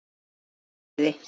Hvíli þú í friði.